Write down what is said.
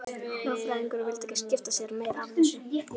Lögfræðingurinn vildi ekki skipta sér meira af þessu.